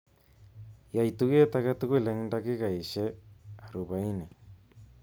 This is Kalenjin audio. Yai tuget aketugul eng dakikaishe arubahin